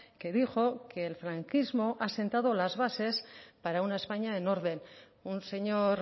que dijo que el franquismo ha asentado las bases para una españa en orden un señor